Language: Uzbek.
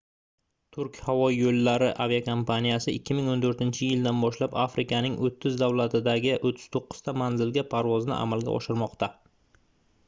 turk havo yoʻllari aviakompaniyasi 2014-yildan boshlab afrikaning 30 davlatidagi 39 ta manzilga parvozni amalga oshirmoqda